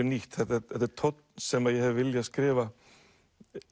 nýtt þetta þetta er tónn sem ég hef viljað skrifa